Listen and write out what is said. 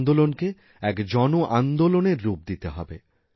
এইআন্দোলনকে এক জনআন্দোলনের রূপ দিতে হবে